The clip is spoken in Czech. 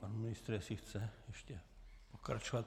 Pan ministr, jestli chce ještě pokračovat?